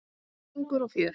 Söngur og fjör.